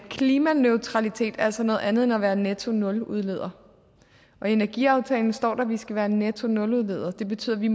klimaneutralitet er altså noget andet end at være nettonuludleder og i energiaftalen står der at vi skal være nettonuludledere det betyder at vi